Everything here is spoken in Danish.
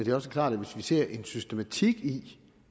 er også klart at hvis vi ser en systematik i